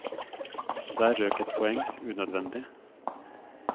Der røk et poeng, unødvendig.